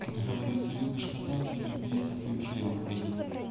как говорится любишь кататься люби и со своим членом ходить